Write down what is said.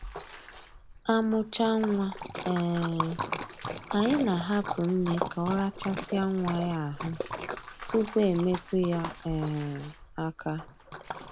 Amụchaa nwa, um anyị na-ahapụ nne ka ọ rachasịa nwa ya ahụ tupu e metụ ya um aka